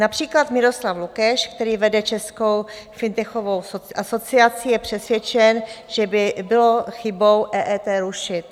Například Miroslav Lukeš, který vede Českou fintechovou asociací, je přesvědčen, že by bylo chybou EET rušit.